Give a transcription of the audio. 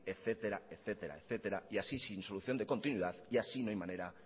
etcétera etcétera y así sin solución de continuidad y así no hay manera